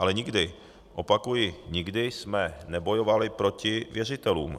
Ale nikdy, opakuji nikdy, jsme nebojovali proti věřitelům.